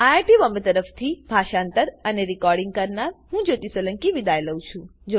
IIT Bombay તરફથી હું જ્યોતી સોલંકી વિદાય લઉં છું